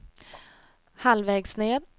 halvvägs ned